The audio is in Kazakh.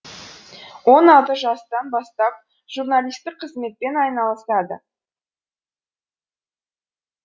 он алты жастан бастап журналистік қызметпен айналысады